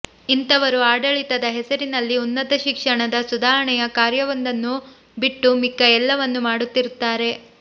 ಇಂಥವರು ಆಡಳಿತದ ಹೆಸರಿನಲ್ಲಿ ಉನ್ನತ ಶಿಕ್ಷಣದ ಸುಧಾರಣೆಯ ಕಾರ್ಯವೊಂದನ್ನು ಬಿಟ್ಟು ಮಿಕ್ಕ ಎಲ್ಲವನ್ನೂ ಮಾಡುತ್ತಿರುತ್ತಾರೆ